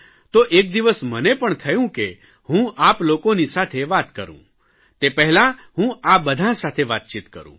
તો એક દિવસ મને પણ થયું કે હું આપ લોકોની સાથે વાત કરૂં તે પહેલાં હું બધાં સાતે વાતચીત કરૂં